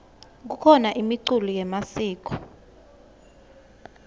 kukhona imiculo yemasiko